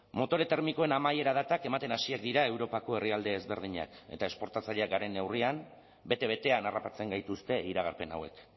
motore termikoen amaiera datak ematen hasiak dira europako herrialde ezberdinak eta esportatzaileak garen neurrian bete betean harrapatzen gaituzte iragarpen hauek